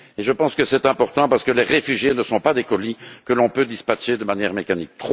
Je pense que c'est important parce que les réfugiés ne sont pas des colis que l'on peut dispatcher de manière mécanique.